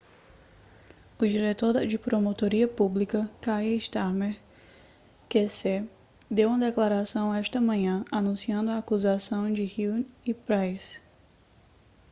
o diretor de promotoria pública kier starmer qc deu uma declaração esta manhã anunciando a acusação de huhne e pryce